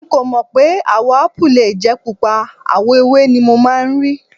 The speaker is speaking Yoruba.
N kò mọ̀ pé àwò Ápù lè jẹ́ Pupa, àwọ̀ ewé ni mo máa ń rí.